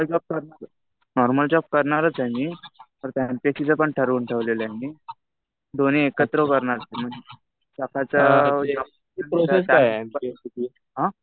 Normal job करणारच, normal job करणारच आहे मी. परत ते एमपीएससीचं पण ठरवून ठेवलेलं मी. दोन्ही एकत्र करणार. आता जर, आ?